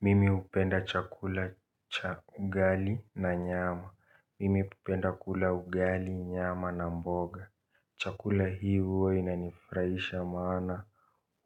Mimi hupenda chakula cha ugali na nyama. Mimi hupenda kula ugali, nyama na mboga. Chakula hii huwa inanifurahisha maana